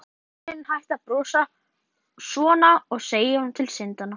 Bíður eftir að vinurinn hætti að brosa svona og segi honum til syndanna.